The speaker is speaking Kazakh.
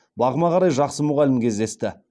бағыма қарай жақсы мұғалім кездесті